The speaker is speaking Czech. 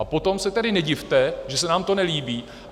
A potom se tedy nedivte, že se nám to nelíbí.